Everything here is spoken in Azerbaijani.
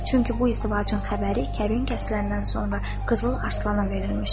Çünki bu izdivacın xəbəri kəbin kəsiləndən sonra Qızıl Arslana verilmişdi.